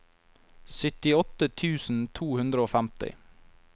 syttiåtte tusen to hundre og femti